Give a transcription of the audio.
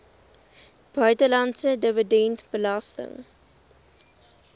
buitelandse dividend belas